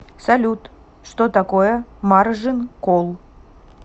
салют что такое маржин колл